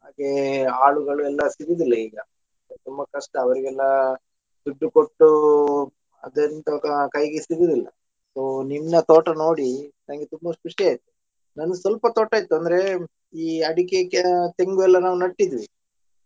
ಹಾಗೆ ಆಳುಗಳೆಲ್ಲ ಸಿಗುದಿಲ್ಲ ಈಗ ತುಂಬ ಕಷ್ಟ ಅವರಿಗೆಲ್ಲ ದುಡ್ಡು ಕೊಟ್ಟು ಅದ್ ಎಂತದ ಕೈಗೆ ಸಿಗುವುದಿಲ್ಲ so ನಿನ್ನ ತೋಟ ನೋಡಿ ನನಗೆ ತುಂಬಾ ಖುಷಿ ಆಯ್ತು ನಂದು ಸ್ವಲ್ಪ ತೋಟ ಇತ್ತು ಅಂದ್ರೆ ಈ ಅಡಿಕೆ ಕೆ~ ತೆಂಗು ಎಲ್ಲ ನಾವು ನಟ್ಟಿದ್ವಿ.